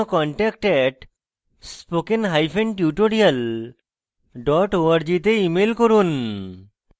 বিস্তারিত তথ্যের জন্য contact @spokentutorial org তে ইমেল করুন